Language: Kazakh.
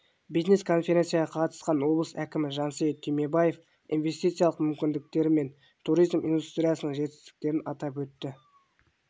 бизнес конференцияға қатысқан облыс әкімі жансейіт түймебаев инвестициялық мүмкіндіктері мен туризм индустриясының жетістіктерін атап өтті